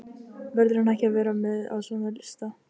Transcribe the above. Verður hann ekki að vera með á svona lista?